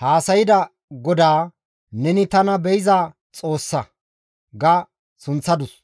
haasayda GODAA, «Neni tana be7iza Xoossa» ga sunththadus.